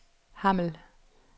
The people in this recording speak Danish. Hammel